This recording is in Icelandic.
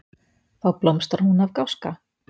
Þá blómstrar hún af gáska.